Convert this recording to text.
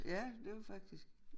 Ja det var faktisk